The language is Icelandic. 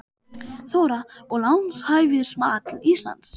Þóra: Og lánshæfismat Íslands?